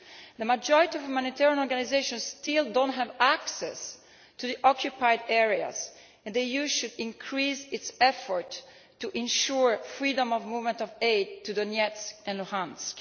The majority of humanitarian organisations still do not have access to the occupied areas, and the EU should increase its efforts to ensure freedom of movement of aid to Donetsk and Luhansk.